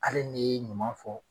Ali ne ye ɲuman fɔ